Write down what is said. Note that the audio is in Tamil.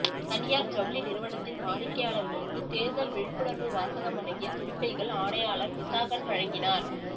தனியார் ஜவுளி நிறுவனத்தின் வாடிக்கையாளர்களுக்கு தேர்தல் விழிப்புணர்வு வாசகம் அடங்கிய துணிப்பைகள் ஆணையாளர் விசாகன் வழங்கினார்